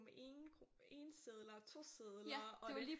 Med 1 sedler og 2 sedler og det